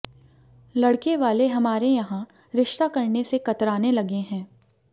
लड़के वाले हमारे यहां रिश्ता करने से कतराने लगे हैं